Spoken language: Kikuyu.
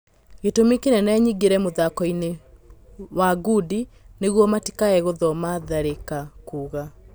Gĩ tũmi kĩ nene nyingĩ re mũthako-inĩ ma ngundi nĩ guo matikage gũthoma Tharĩ ka kuga